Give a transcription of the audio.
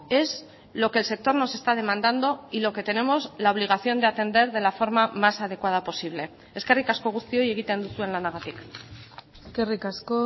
es lo que el sector nos está demandando y lo que tenemos la obligación de atender de la forma más adecuada posible eskerrik asko guztioi egiten duzuen lanagatik eskerrik asko